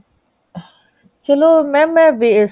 ਚਲੋ mam ਮੈਂ